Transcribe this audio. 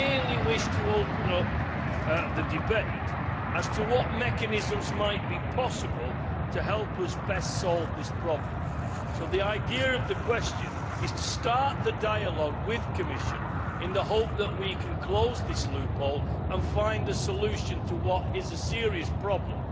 We merely wish to open up the debate as to what mechanisms might be possible to help us best solve this problem, so the idea of the question is to start the dialogue with the Commission in the hope that we can close this loophole and find a solution to what is a serious problem,